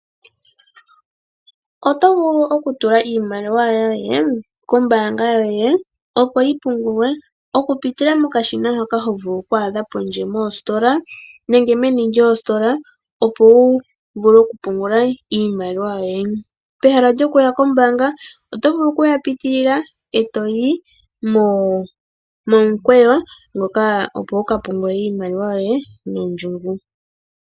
Oto vulu okutula iimaliwa yoye kombaanga yoye, opo yi pungulwe okupitila muushina mboka twaadha pondje nenge meni lyoositola, opo wu pungule iimaliwa yoye. Pehala lyokupungula pondje oto vulu okuyapitilila etoyi momukweyo wuka pungule iimaliwa yoye nondjungu.